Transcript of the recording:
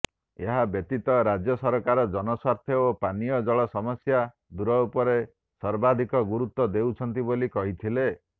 ଏହାବ୍ୟତୀତ ରାଜ୍ୟ ସରକାର ଜନସ୍ୱାସ୍ଥ୍ୟ ଓ ପାନୀୟଜଳ ସମସ୍ୟା ଦୂର ଉପରେ ସର୍ବାଧିକ ଗୁରୁତ୍ୱ ଦେଉଛନ୍ତି ବୋଲି କହିଥିଲେ